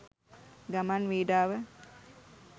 ගමන් විඩාව